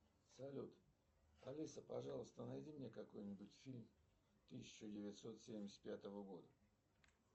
салют алиса пожалуйста найди мне какой нибудь фильм тысяча девятьсот семьдесят пятого года